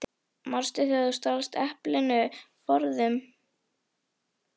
Manstu þegar þú stalst eplinu forðum?